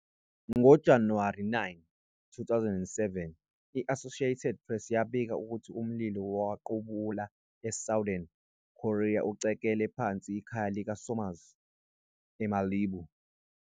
NgoJanuwari 9, 2007, i-Associated Press yabika ukuthi umlilo wequbula eSouthern California ucekele phansi ikhaya likaSomers eMalibu.